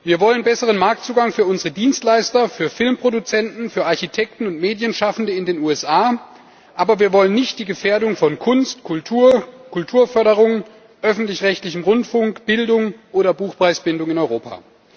Wir wollen besseren Marktzugang für unsere Dienstleister, für Filmproduzenten, für Architekten und Medienschaffende in den USA, aber wir wollen nicht die Gefährdung von Kunst, Kultur, Kulturförderung, öffentlich rechtlichem Rundfunk, Bildung oder Buchpreisbindung in Europa.